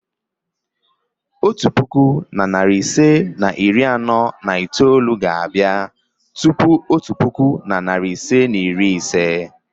otu puku na narị ise na iri anọ na itoolu ga-abịa tupu otu puku na narị ise na iri ise.